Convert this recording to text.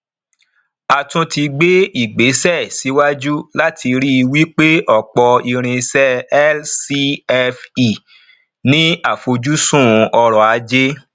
a tún ti gbé ìgbésẹ síwájú láti rí wípé ọpọ irinṣẹ lcfe ní àfojúsùn oròajé